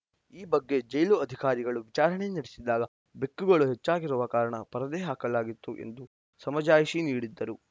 ಈ ಬಗ್ಗೆ ಜೈಲು ಅಧಿಕಾರಿಗಳ ವಿಚಾರಣೆ ನಡೆಸಿದಾಗ ಬೆಕ್ಕುಗಳು ಹೆಚ್ಚಾಗಿರುವ ಕಾರಣ ಪರದೆ ಹಾಕಲಾಗಿತ್ತು ಎಂದು ಸಮಜಾಯಿಷಿ ನೀಡಿದ್ದರು